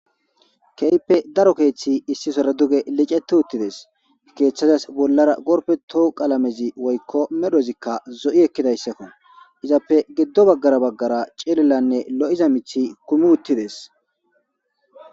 kehippe daro keeththi issi sora duge licete uttides keeththadas bollara gorpeto qalamezi woykko medhozikka zo7i ekkidayssakko izappe giddo baggara baggara cilelanne lo7iza mithi kumi uttides.